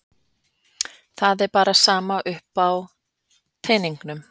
Það er bara sama upp á teningnum.